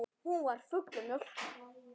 Hún var full af mjólk!